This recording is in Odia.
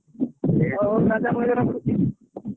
ହଉ ହଉ ରାଜା ଏବେ ରଖୁଛି।